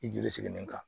I joli sigilen kan